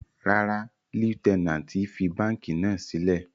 Rárá, Lutenanti fi banki náa silẹ